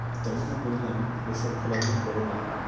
তাই জন্য বলি আমি বেশি খেলাধুলো কর না।